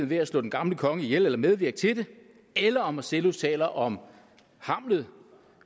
ved at slå den gamle konge ihjel eller medvirke til det eller om marcellus taler om hamlet